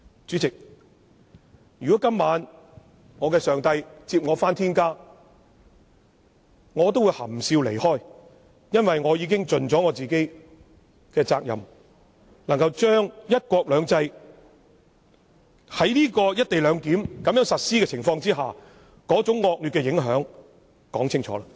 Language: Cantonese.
主席，如果今晚我的上帝接我回天家，我也會含笑離開，因為我已經盡了自己的責任，將在"一國兩制"下實施"一地兩檢"安排的那種惡劣影響說清楚。